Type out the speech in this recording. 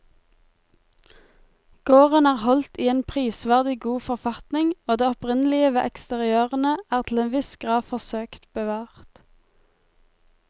Gården er holdt i en prisverdig god forfatning og det opprinnelige ved eksteriørene er til en viss grad forsøkt bevart.